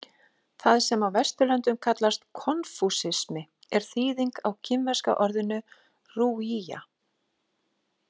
Það sem á Vesturlöndum kallast „konfúsismi“ er þýðing á kínverska orðinu rujia.